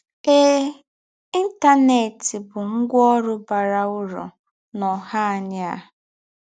Èè, Íntánẹ́t bụ́ ngwạ́ ǒrụ́ bàrà ứrụ̀ n’ǒhá ànyí̀ à.